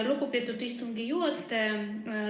Lugupeetud istungi juhataja!